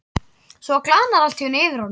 Svo glaðnar allt í einu yfir honum.